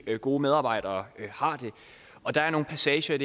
og gode medarbejdere har det og der er nogle passager